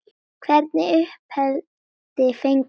Hvernig uppeldi fenguð þið?